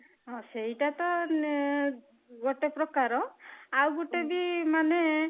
ହଁ, ସେଇଟା ତ ଗୋଟେ ପ୍ରକାର ଆଉ ଗୋଟେ ବି ମାନେ